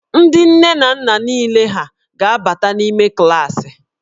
Ndị nne na nna niile hà ga-abata n'ime klaasị?